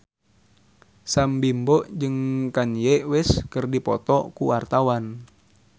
Sam Bimbo jeung Kanye West keur dipoto ku wartawan